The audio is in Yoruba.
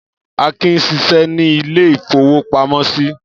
Akin ń ṣiṣẹ́ ní ilé-ìfowópamọ́sí.